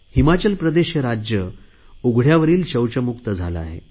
हिमाचल प्रदेश हे राज्य उघडयावरील शौचमुक्त झाले आहे